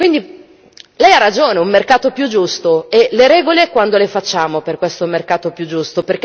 Quindi lei ha ragione su un mercato più giusto. E le regole, quando le facciamo per questo mercato più giusto?